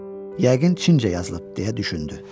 Yəqin Çincə yazılıb deyə düşündü.